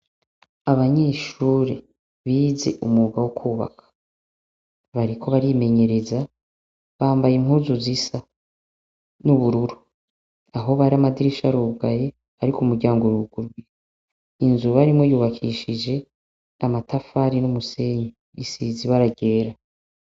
Abanyeshure bize umwuga wo kwubaka; bariko barimenyereza, bambaye impuzu zisa n'ubururu. Aho bari amadirisha arugaye, ariko umuryango uruguruye. Inzu barimwo yubakishije amatafari n'umusenyi bisize ibara ryera.